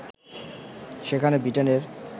সেখানে বৃটেনের